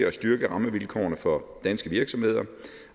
at styrke rammevilkårene for danske virksomheder